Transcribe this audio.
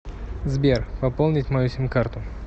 сбер пополнить мою сим карту